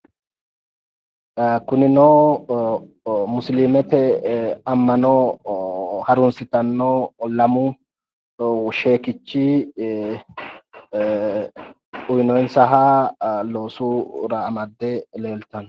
Kunino musiliimete ammano harunsitanno lamu sheekichi uyinoyinsaha loosu raa amadde leeltanno